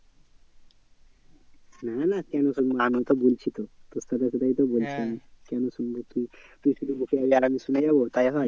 না না কেন শুনবো আমিও তো বলছি তো তোর সাথে কোথায় তো বলছি আমি কেন শুনবো তুই, তুই শুধু বকে যাবি আর আমি শুনে যাবো তাই হয়